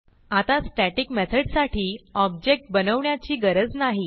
आता स्टॅटिक मेथडसाठी ऑब्जेक्ट बनवण्याची गरज नाही